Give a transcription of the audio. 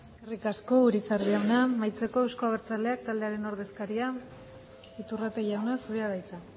eskerrik asko urizar jauna amaitzeko euzko abertzaleak taldearen ordezkaria iturrate jauna zurea da hitza